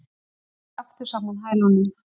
Ég slæ aftur saman hælunum.